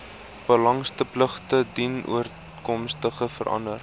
belastingpligtige dienooreenkomstig verander